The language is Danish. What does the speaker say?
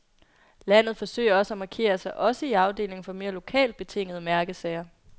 Landet forsøger også at markere sig også i afdelingen for mere lokalt betingede mærkesager.